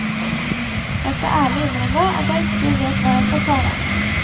Jeg skal ærlig innrømme at jeg ikke vet hva jeg skal svare.